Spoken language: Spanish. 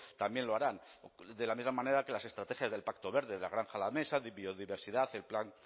también lo harán de la misma manera que las estrategias del pacto verde de la granja a la mesa de biodiversidad el plan